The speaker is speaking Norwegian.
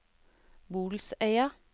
Bolsøya